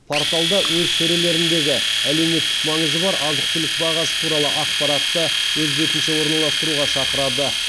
порталда өз сөрелеріндегі әлеуметтік маңызы бар азық түлік бағасы туралы ақпаратты өз бетінше орналастыруға шақырады